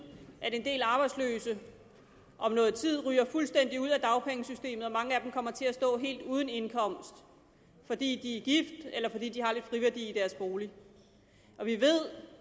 at en del arbejdsløse om noget tid ryger fuldstændig ud af dagpengesystemet og at mange af dem kommer til at stå helt uden indkomst fordi de er gift eller fordi de har lidt friværdi i deres bolig vi ved